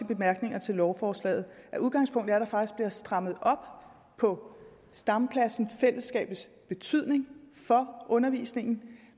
bemærkningerne til lovforslaget at udgangspunktet er at der faktisk bliver strammet op på stamklassens og fællesskabets betydning for undervisningen